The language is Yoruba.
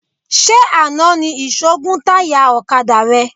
Ṣé àná ni ìṣó gún táyà ọ̀kadà rẹ?